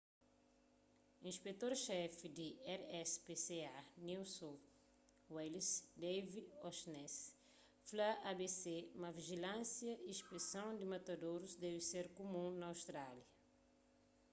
inspetor xefi di rspca new south wales david o'shannessy fla abc ma vijilânsia y inspeson di matadorus debe ser kumun na austrália